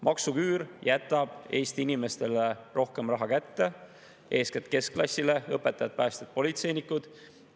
Maksuküüru jätab Eesti inimestele rohkem raha kätte, eeskätt keskklassile: õpetajad, päästjad, politseinikud.